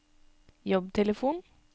jobbtelefon